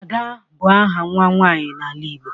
Ada bụ áhà nwa nwanyị n'ala Igbo